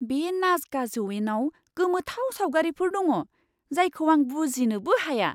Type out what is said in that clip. बे नाजका जौयेनाव गोमोथाव सावगारिफोर दङ, जायखौ आं बुजिनोबो हाया!